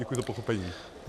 Děkuji za pochopení.